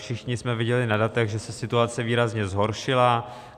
Všichni jsme viděli na datech, že se situace výrazně zhoršila.